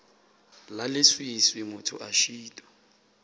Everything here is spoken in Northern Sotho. la leswiswi motho a šitwa